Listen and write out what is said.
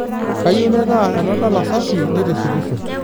Kayieu naitaaa enadala safi neitishipisho.